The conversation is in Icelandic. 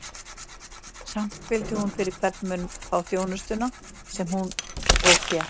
Samt vildi hún fyrir hvern mun fá þjónustuna, sem hún og fékk.